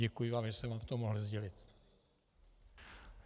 Děkuji vám, že jsem vám to mohl sdělit.